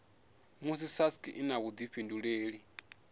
musi sasc i na vhuifhinduleli